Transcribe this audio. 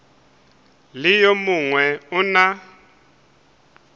le yo mongwe o na